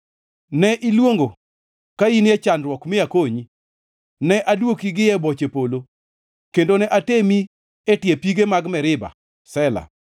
Ne iluongo ka in e chandruok mi akonyi, ne adwoki gi ei boche polo, kendo ne atemi e tie pige mag Meriba. Sela